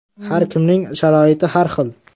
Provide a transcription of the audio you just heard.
Har kimning sharoiti har xil.